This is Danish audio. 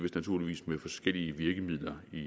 vist med forskellige virkemidler i